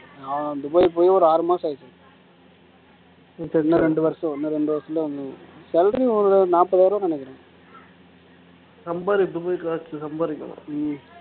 அஹ் துபாய் போயி ஒரு ஆறு மாசம் ஆச்சு இப்ப இன்னும் ரெண்டு வருஷம் இன்னும் ரெண்டு வருஷத்துல salary ஒண்ணு நாற்பதாயிரம் ரூபாய்ன்னு நினைக்கிறேன் சம்பாரி இப்பவே காசுல சம்பாரிக்கணும்